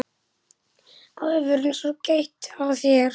Aðvörun svo gæt að þér.